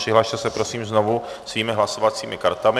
Přihlaste se prosím znovu svými hlasovacími kartami.